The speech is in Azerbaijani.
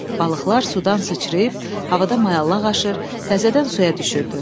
Balıqlar sudan sıçrayıb havada mayallaq aşır, təzədən suya düşürdü.